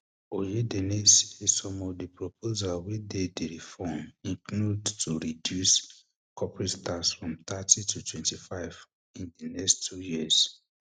um oyedele say some of di proposals wey dey di reform include to reduce um corporate tax from thirty to twenty-five in di next two years